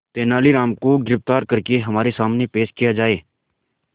तेनालीराम को गिरफ्तार करके हमारे सामने पेश किया जाए